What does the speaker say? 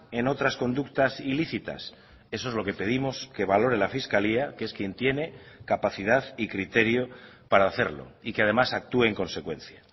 en otras conductas ilícitas eso es lo que pedimos que valore la fiscalía que es quien tiene capacidad y criterio para hacerlo y que además actúe en consecuencia